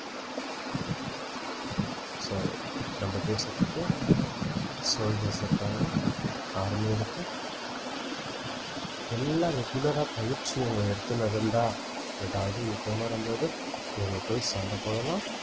so நம்ப தேசத்துக்கு soldiers இருக்காங்க army இருக்கு எல்லா regular ஆ பயிற்சி அவங்க எடுத்துன்னுஇருந்தா எதாவது யுத்தம் வரும்போது இவங்க போய் சண்டை போடலாம்